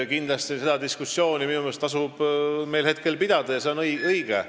Kindlasti tasub meil seda diskussiooni pidada, see on õige.